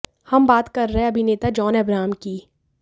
हम बात कर रहे हैं अभिनेता जॉन अब्राहम की